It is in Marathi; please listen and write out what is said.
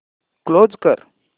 क्लोज कर